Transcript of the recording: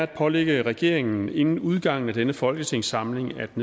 pålægge regeringen inden udgangen af denne folketingssamling at